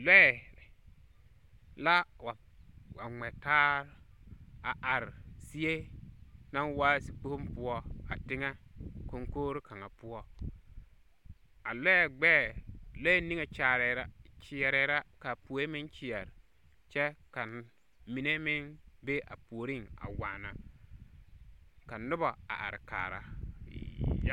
Lɔɛ, la wa ŋmɛ taar, a are zie, naŋ waa zikpoŋ poɔ a teŋɛ koŋkogri kaŋa poɔ. A lɔɛ gbɛɛ lɔɛ niŋe kyaarɛɛ la kyeɛrɛɛ la kaa poe meŋ kyeɛr kyɛ ka mine meŋ be a puori a waana, ka noba a are kaara.